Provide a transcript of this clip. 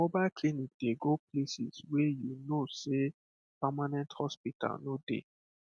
mobile clinic dey go places wey you know sey permanent hospital no dey